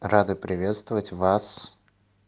рады приветствовать вас